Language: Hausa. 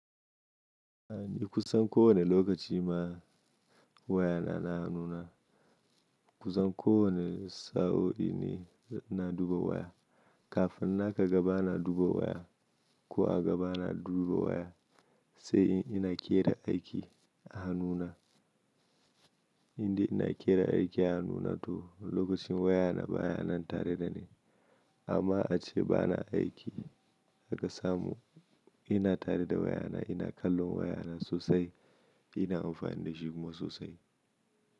Kusan kowane lokaci ma waya na, na hannuna. Kusan kowane sa'o'i ni ina duba waya. Kafin naka gaba na duba waya ko a gaba na duba waya, sai in ina kera aiki a hannuna. Indai ina kera aiki a hannuna to lokacin waya na baya nan tare da ni. Amma ace bana aiki haka samu ina tare da waya na, ina kallon waya na sosai, ina amfani da shi kuma sosai.